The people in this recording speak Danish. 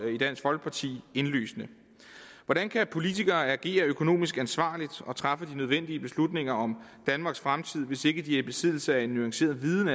i dansk folkeparti indlysende hvordan kan politikere agere økonomisk ansvarligt og træffe de nødvendige beslutninger om danmarks fremtid hvis ikke de er i besiddelse af en nuanceret viden